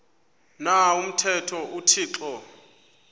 na umthetho uthixo